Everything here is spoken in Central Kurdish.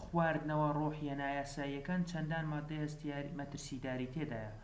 خواردنەوە ڕۆحیە نایاساییەکان چەندان مادەی مەترسیداری تێدایە